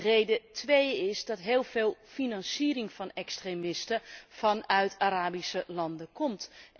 Reden twee is dat heel veel financiering van extremisten vanuit Arabische landen komt.